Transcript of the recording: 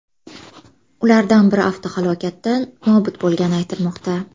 Ulardan biri avtohalokatda nobud bo‘lgani aytilmoqda.